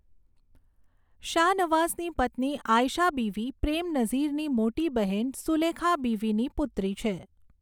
શાનવાઝની પત્ની આયશા બીવી પ્રેમ નઝીરની મોટી બહેન સુલેખા બીવીની પુત્રી છે.